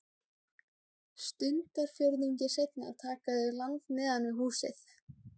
Stundarfjórðungi seinna taka þau land neðan við húsið.